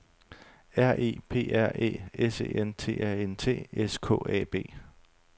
R E P R Æ S E N T A N T S K A B